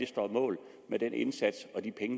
står mål med den indsats